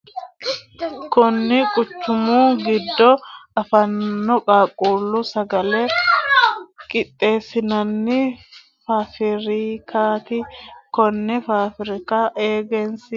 Kunni quchumu gido afamano qaaqquulu sagale qixeesinnanni faafirikaati. Konne faafirika egensiisate fushinoonni egenshiishaati. Konne egenshiisha amade nootinna isera badheenni beetu leelanni no.